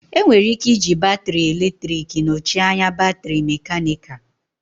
Enwere ike iji batrị eletrik nọchie anya batrị mekanịka